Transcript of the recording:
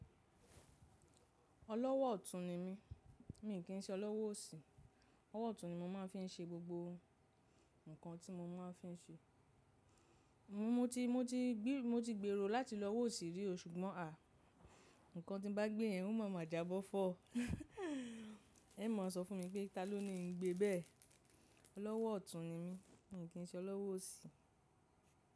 Ọlọ́wọ́ ọ̀tún ni mí, mi kì ń ṣe olówó òsì, ọ́wọ́ ọ̀tún ni mo máa ń fí ń ṣe gbogbo nǹkan tí mo máa ń fí ń ṣe. Mo ti, mo ti, bí mo ti gbèrò láti lọ wòsì rí ṣùgbọ́n à, nǹkan tí bá gbé yẹn, wọn máa mọ̀ ajábọ́ fọ́. Ẹ máa sọ fún mi pé taló ni ń gbé bẹ́ẹ̀? Ọlọ́wọ́ ọ̀tún ni mí, mi kì ń ṣe olówó òsì.